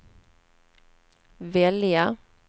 välja